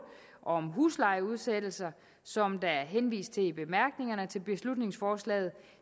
om huslejeudsættelser som der er henvist til i bemærkningerne til beslutningsforslaget